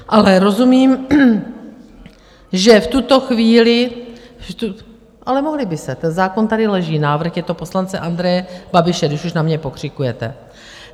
Ale rozumím, že v tuto chvíli - ale mohly by se, ten zákon tady leží, návrh je to poslance Andreje Babiše, když už na mě pokřikujete.